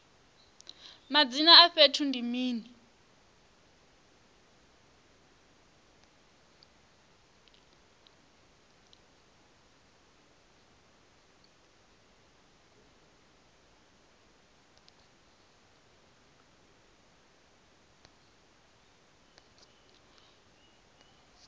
madzina a fhethu ndi mini